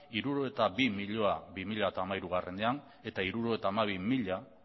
hirurogeita bi milioi bi mila hamairuean eta hirurogeita hamabi milioi